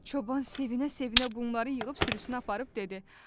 Çoban sevinə-sevinə bunları yığıb sürüsünə aparıb dedi: